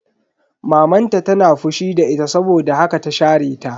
Maman ta tana fushi da ita saboda haka ta share ta.